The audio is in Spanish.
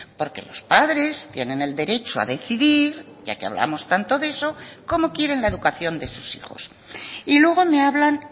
porque los padres tienen el derecho a decidir ya que hablamos tanto de eso cómo quieren la educación de sus hijos y luego me hablan